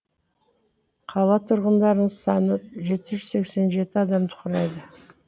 қала тұрғындарының саны жеті жүз сексен жеті адамды құрайды